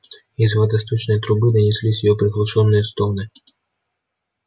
из водосточной трубы донеслись её приглушённые стоны